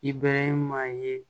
I bɛɛrɛ maa ye